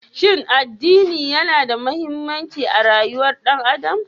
Shin addini yana da mahimmanci a rayuwar ɗan adam?